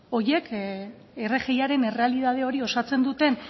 rgiaren errealitate hori osatzen duten